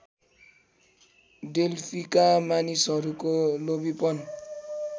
डेल्फीका मानिसहरूको लोभीपन